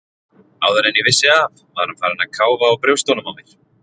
Áður en ég vissi af var hann farinn að káfa á brjóstunum á mér.